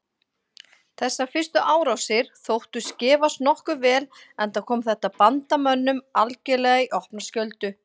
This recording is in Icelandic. Þessar fyrstu árásir þóttust gefast nokkuð vel enda kom þetta bandamönnum algerlega í opna skjöldu.